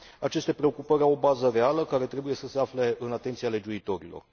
Aceste preocupări au o bază reală, care trebuie să se afle în atenția legiuitorilor.